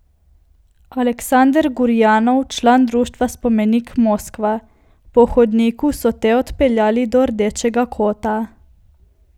Aleksander Gurjanov, član društva Spomenik, Moskva: 'Po hodniku so te odpeljali do rdečega kota.